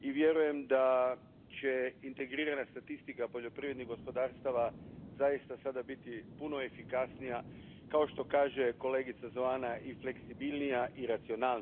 i vjerujem da će integrirana statistika poljoprivrednih gospodarstava sada zaista biti puno efikasnija, kao što kaže kolegica Zoana, i fleksibilnija i racionalnija.